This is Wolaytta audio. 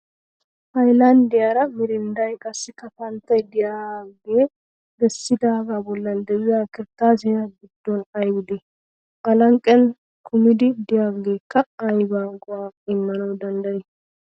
Hayilanddiyaara mirindday qassikka panttay diyagge bessidaagaa bollan diya kirttaasiya giddon ayibi dii? A lanqqen kumidi diyageekka ayiba go'aa immana danddayii?